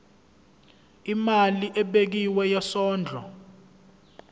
imali ebekiwe yesondlo